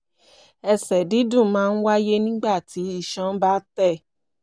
ẹsẹ̀ dídùn máa ń wáyé nígbà tí iṣan bá tẹ̀